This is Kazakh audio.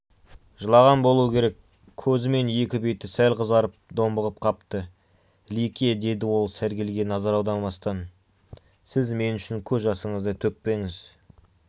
жылаған болуы керек көзі мен екі беті сәл қызарып домбығып қапты лике деді ол сәргелге назар аудармастан сіз мен үшін көз жасыңызды төкпеңіз